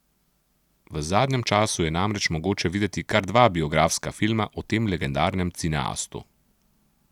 V zadnjem času je namreč mogoče videti kar dva biografska filma o tem legendarnem cineastu.